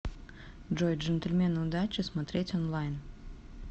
джой джентльмены удачи смотреть онлайн